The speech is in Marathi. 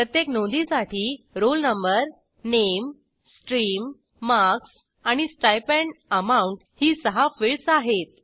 प्रत्येक नोंदीसाठी रोल नंबर नामे स्ट्रीम मार्क्स आणि स्टाइपेंड एएम आउंट ही सहा फिल्डस आहेत